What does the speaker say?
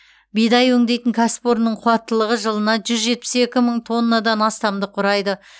бидай өңдейтін кәсіпорынның қуаттылығы жылына жүз жетпіс екі мың тоннадан астамды құрайды